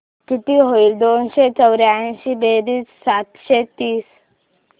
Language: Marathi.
किती होईल दोनशे चौर्याऐंशी बेरीज सातशे तीस